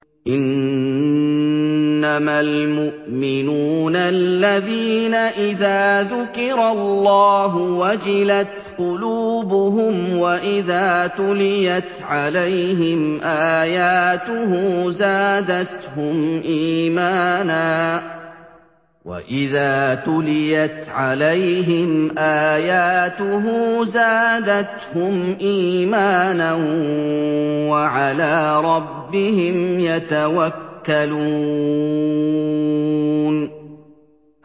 إِنَّمَا الْمُؤْمِنُونَ الَّذِينَ إِذَا ذُكِرَ اللَّهُ وَجِلَتْ قُلُوبُهُمْ وَإِذَا تُلِيَتْ عَلَيْهِمْ آيَاتُهُ زَادَتْهُمْ إِيمَانًا وَعَلَىٰ رَبِّهِمْ يَتَوَكَّلُونَ